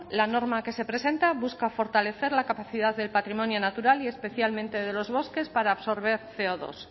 la norma que se presenta busca fortalecer la capacidad del patrimonio natural y especialmente de los bosques para absorber ce o dos